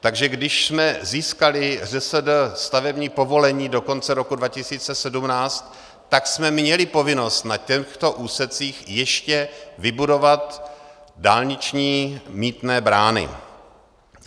Takže když jsme získali, ŘSD, stavební povolení do konce roku 2017, tak jsme měli povinnost na těchto úsecích ještě vybudovat dálniční mýtné brány.